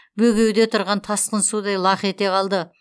бөгеуде тұрған тасқын судай лақ ете қалды